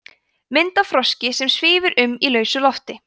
mynd af froski sem svífur um í lausu lofti